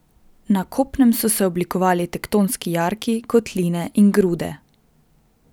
Na kopnem so se oblikovali tektonski jarki, kotline in grude.